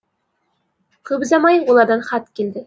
көп ұзамай олардан хат келді